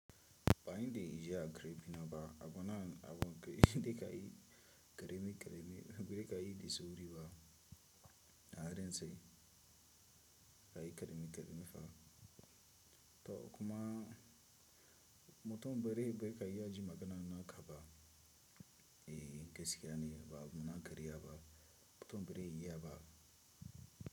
Bayi de ijiya karebi na ba, abonnan abon ka yi de ka yi karemi karemi, be ka yi de squri ba na haren sai ka yi karemi karemi fa. To kuma moton bere barka in yaji maganan na ka ba, e gaskiya ne ba, adu na karya ba, moton bere yi ya ba.